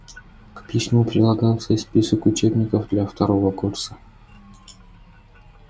к письму прилагался список учебников для второго курса